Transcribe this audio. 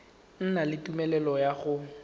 na le tumelelo ya go